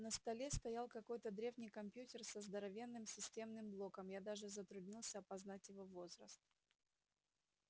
на столе стоял какой-то древний компьютер со здоровенным системным блоком я даже затруднился опознать его возраст